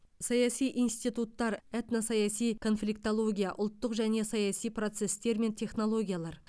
саяси институттар этносаяси конфликтология ұлттық және саяси процестер мен технологиялар